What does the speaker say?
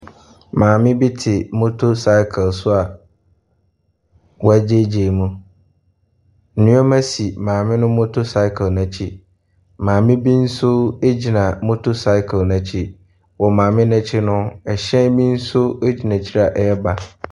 Maame bi te motocycle so a wagyagyaa mu, nneɛma si maame no motocycle n’akyi. Maame bi nso gyina motocycle n’akyi. Wɔ maame n’akyi no, hyɛn bi nso gyina akyi a ɛreba.